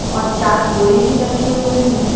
और चार बोरि भी रखें हुये है।